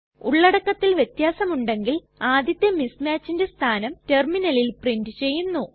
ഉള്ളടക്കത്തിൽ വ്യത്യാസമുണ്ടെങ്കിൽ ആദ്യത്തെ mismatchന്റെ സ്ഥാനം ടെർമിനലിൽ പ്രിന്റ് ചെയ്യുന്നു